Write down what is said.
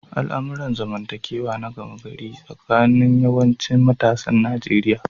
Al'amuran zamantakewa na gama gari tsakanin yawancin matasan Nijeriya.